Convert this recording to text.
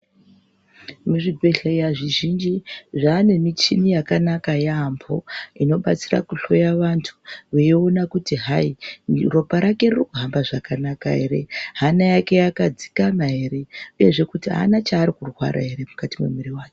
Mu zvibhehleya zvi zhinji zvane michini yakanaka yambo ino batsira ku hloya vantu vei ona kuti hayi ropa rake riri kuhamba zvakanaka ere hana yake yaka dzikama ere uyezve kuti aana ere chaari kurwara ere mukati me mwiri mwake.